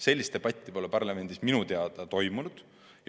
Sellist debatti pole parlamendis minu teada toimunud.